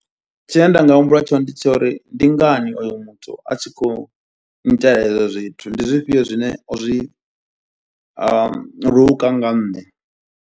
Tshine nda nga humbula tshone ndi tsha uri ndi ngani oyo muthu a tshi khou nnyitela izwo zwithu, ndi zwifhio zwine o zwi nga nṋe.